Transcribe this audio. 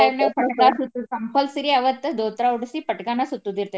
ಆ time ನ್ಯಾಗ compulsory ಅವತ್ತ ದೋತ್ರಾ ಉಡಿಸಿ ಪಟಗಾನ ಸುತ್ತೋದ್ ಇರ್ತೆತಿ ನಮ್ಮ್ ಕಡೆ.